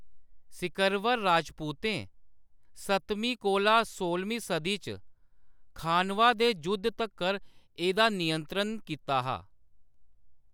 सिकरवर राजपूतें सतमीं कोला सोह्लमीं सदी च खानवा दे जुद्ध तक्कर एह्‌‌‌दा नियंत्रण कीता हा।